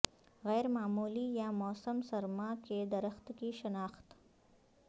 غیر معمولی یا موسم سرما کے درخت کی شناخت